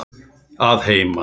Að heiman?